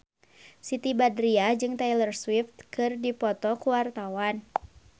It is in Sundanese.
Siti Badriah jeung Taylor Swift keur dipoto ku wartawan